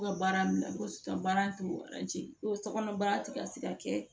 U ka baara bila ko baara tɛ ko sokɔnɔ baara tɛ ka se ka kɛ